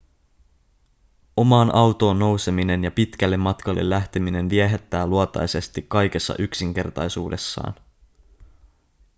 omaan autoon nouseminen ja pitkälle matkalle lähteminen viehättää luontaisesti kaikessa yksinkertaisuudessaan